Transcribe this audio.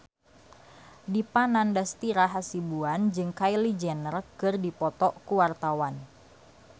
Dipa Nandastyra Hasibuan jeung Kylie Jenner keur dipoto ku wartawan